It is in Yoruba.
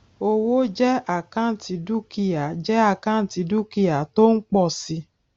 owó jẹ àkáǹtì dúkìá jẹ àkáǹtì dúkìá tó ń pọ si